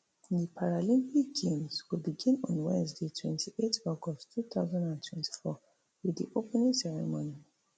di paralympic games go begin on wednesday twenty-eight august two thousand and twenty-four wit di opening ceremony